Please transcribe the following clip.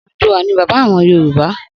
Odùduwà ni bàbá àwon Yorùbá.